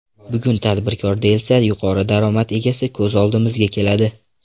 Bugun tadbirkor, deyilsa, yuqori daromad egasi ko‘z oldimizga keladi.